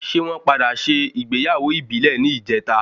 Ṣé wọn padà sé ìgbéyàwó ìbílẹ̀ ní ìjeta?